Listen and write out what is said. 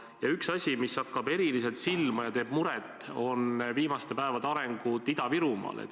Ja üks asi, mis hakkab eriliselt silma ja teeb muret, on viimaste päevade arengud Ida-Virumaal.